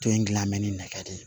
To in gilan mɛ ni nɛgɛ de ye